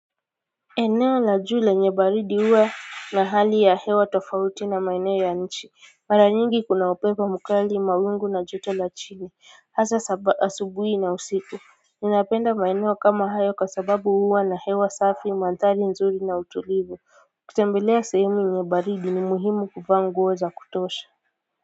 Eneo la juu lenye baridi huwa na hali ya hewa tofauti na maeneo ya nchi mara nyingi kuna upepo mkali mawingu na joto la chini hasa asubui na usiku ninapenda maeneo kama hayo kwa sababu huwa na hewa safi mantali nzuri na utulivu kutembelea sehemu yenye baridi ni muhimu kuvaa nguo zakutosha.